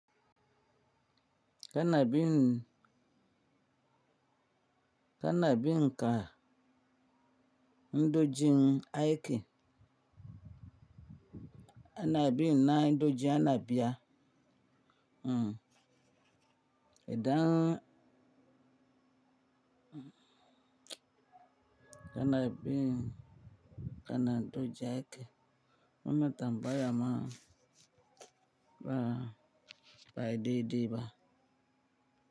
Kana bin kana bin ka ndojiin aike, ana bin ƙa'idojin ana biya, hmm idaan hmm kana bin kana doja ake, wannan tambaya ma ba'ayi dai-dai ba.